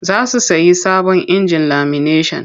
Za su sayi sabon injin lamineshan.